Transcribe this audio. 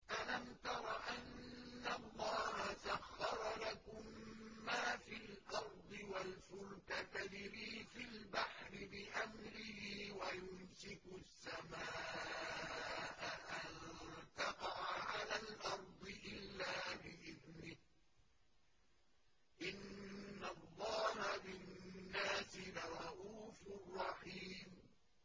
أَلَمْ تَرَ أَنَّ اللَّهَ سَخَّرَ لَكُم مَّا فِي الْأَرْضِ وَالْفُلْكَ تَجْرِي فِي الْبَحْرِ بِأَمْرِهِ وَيُمْسِكُ السَّمَاءَ أَن تَقَعَ عَلَى الْأَرْضِ إِلَّا بِإِذْنِهِ ۗ إِنَّ اللَّهَ بِالنَّاسِ لَرَءُوفٌ رَّحِيمٌ